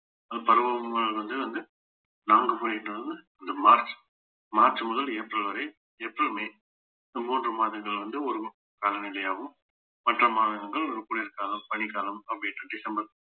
அது பருவங்கள் வந்து வந்து நாங்க போயிட்டு வந்து இந்த மார்ச் மார்ச் முதல் ஏப்ரல் வரை எப்பவுமே இந்த மூன்று மாதங்கள் வந்து ஒரு காலநிலையாவும் மற்ற மாதங்கள் குளிர்காலம் பனிக்காலம் அப்படின்னுட்டு டிசம்பர்